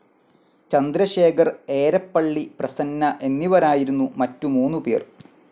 ചന്ദ്രശേഖർ, ഏരപ്പള്ളി പ്രസന്ന എന്നിവരായിരുന്നു മറ്റു മൂന്നുപേർ.